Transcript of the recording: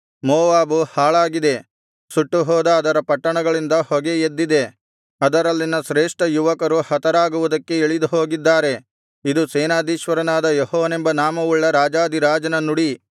Moab ಹಾಳಾಗಿದೆ ಸುಟ್ಟುಹೋದ ಅದರ ಪಟ್ಟಣಗಳಿಂದ ಹೊಗೆ ಎದ್ದಿದ್ದೆ ಅದರಲ್ಲಿನ ಶ್ರೇಷ್ಠ ಯುವಕರು ಹತರಾಗುವುದಕ್ಕೆ ಇಳಿದುಹೋಗಿದ್ದಾರೆ ಇದು ಸೇನಾಧೀಶ್ವರನಾದ ಯೆಹೋವನೆಂಬ ನಾಮವುಳ್ಳ ರಾಜಾಧಿರಾಜನ ನುಡಿ